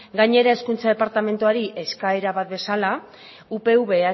gainera hezkuntza departamentuari eskaera bat bezala upv